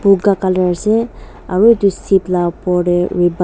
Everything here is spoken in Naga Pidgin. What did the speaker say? boga colour ase aru etu seat laga opor te ribon --